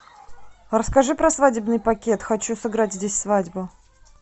расскажи про свадебный пакет хочу сыграть здесь свадьбу